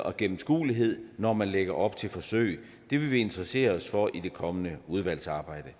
og gennemskuelighed når man lægger op til forsøg det vil vi interessere os for i det kommende udvalgsarbejde